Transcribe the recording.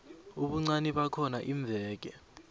ubuncani bakhona iimveke